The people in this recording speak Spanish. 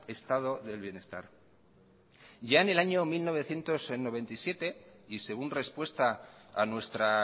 estado del bienestar ya en el año mil novecientos noventa y siete y según respuesta a nuestra